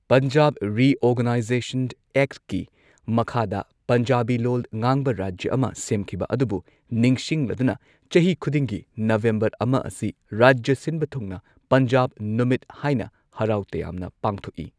Punjab reorganisation ꯑꯦꯛꯀꯤꯃꯈꯥꯗ ꯄꯟꯖꯥꯕꯤ ꯂꯣꯜ ꯉꯥꯡꯕ ꯔꯥꯖ꯭ꯌ ꯑꯃ ꯁꯦꯝꯈꯤꯕ ꯑꯗꯨꯕꯨ ꯅꯤꯡꯁꯤꯡꯂꯗꯨꯅ ꯆꯍꯤ ꯈꯨꯗꯤꯡꯒꯤ ꯅꯕꯦꯝꯕꯔ ꯑꯃ ꯑꯁꯤ ꯔꯥꯖ꯭ꯌꯥ ꯁꯤꯟꯕ ꯊꯨꯡꯅ ꯄꯟꯖꯥꯕ ꯅꯨꯃꯤꯠ ꯍꯥꯏꯅ ꯍꯔꯥꯎ ꯇꯌꯥꯝꯅ ꯄꯥꯡꯊꯣꯛꯏ꯫